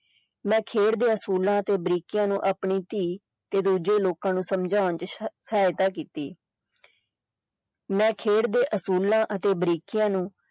ਮੈਂ ਖੇਡ ਦੇ ਅਸੂਲਾਂ ਤੇ ਬਰੀਕੀਆਂ ਨੂੰ ਆਪਣੀ ਧੀ ਤੇ ਦੂਜੇ ਲੋਕਾਂ ਨੂੰ ਸਮਝਾਉਣ ਦੀ ਸਹਾਇਤਾ ਕੀਤੀ ਮੈਂ ਖੇਡ ਦੇ ਅਸੂਲਾਂ ਅਤੇ ਬਰੀਕੀਆਂ ਨੂੰ।